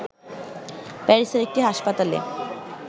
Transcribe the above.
প্যারিসের একটি হাসপাতালে